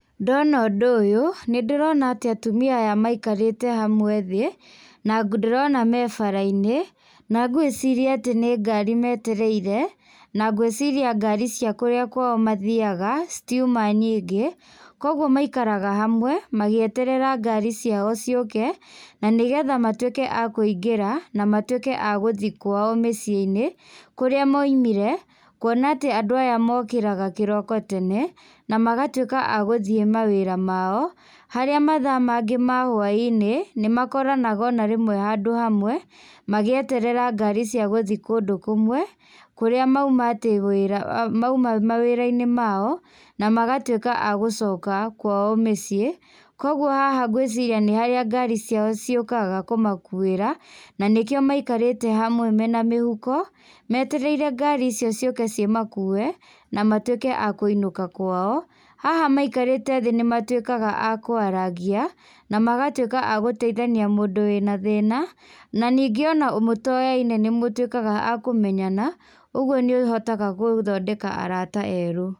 Ndona ũndũ ũyũ, nĩndĩrona atĩ atumia aya maikarĩte hamwe thĩ, na ndĩrona me bara-inĩ, na ngwĩciria atĩ nĩ ngari metereire, na ngwĩciria ngari cia kũrĩa kwao mathiaga, citiuma nyingĩ, kwa ũguo maikaraga hamwe magĩeterera ngari ciao ciũke, na nĩgetha matuĩke a kũingĩra, na matuĩke a gũthiĩ kwao mĩciĩ-inĩ kũrĩa moimire, kũona atĩ andũ aya mokĩraga kĩroko tene, na magatuĩka a gũthiĩ mawĩra mao, harĩa mathaa mangĩ ma hwaĩinĩ nĩmakoranaga ona rĩmwe handũ hamwe magĩeterera ngari cia gũthiĩ kũndũ kũmwe, kũrĩa mauma mawĩra-inĩ mao, na magatuĩka agũcoka kwao mĩciĩ, koguo haha ngwĩciria nĩharĩa ngari ciao ciũkaga kũmakuĩra, nanĩkĩo maikarĩte hamwe mena mĩhuko, metereire ngari icio ciũke cimakue, na matuĩke a kũinũka kwao. Haha maikarĩte thĩ nĩmatuĩkaga a kwarangia, na magatuĩka a gũtaithania mũndũ wĩna thĩna, na ningĩ ona mũtoyaine nĩmũtuĩkaga akũmenyana, ũguo nĩũhotaga gũthondeka arata erũ.